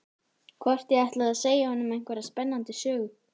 Hvort ég ætli að segja honum einhverja spennandi sögu.